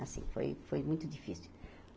Assim, foi foi muito difícil.